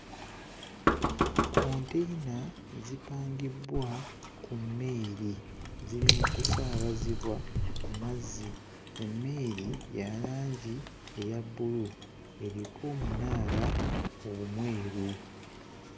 Konteyina zipangibbwa ku mmeeri ziri mu kusaabazibwa ku mazzi. Emmeeri ya langi eya bbulu, eriko omunaala omweru.